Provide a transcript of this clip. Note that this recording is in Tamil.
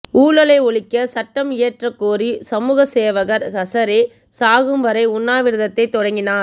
ஊழலை ஒழிக்க சட்டம் இயற்றக்கோரி சமூக சேவகர் ஹசரே சாகும் வரை உண்ணாவிரத்தை தொடங்கினார்